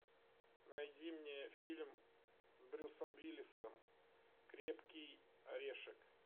найди мне фильм с брюсом уиллисом крепкий орешек